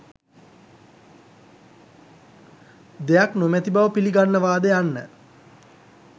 දෙයක් නොමැති බව පිලිගන්නවාද යන්න.